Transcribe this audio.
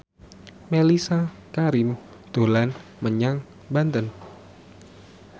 Mellisa Karim dolan menyang Banten